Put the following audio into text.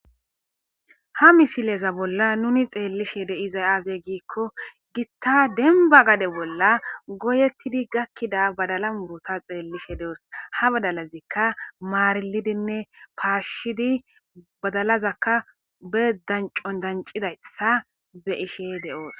Ha misileza bolla nuni xeellishe deiza aazey giikko gitta denba gade bolla goyettidi gakkida badala mubota xeellishe de'oos ha badalazikka maarilidinne paashshidi badalazakka bedancon dancidayssa be ishe de'oos.